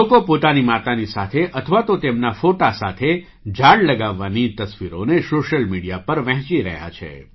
લોકો પોતાની માતાની સાથે અથવા તો તેમના ફૉટો સાથે ઝાડ લગાવવાની તસવીરોને સૉશિયલ મીડિયા પર વહેંચી રહ્યા છે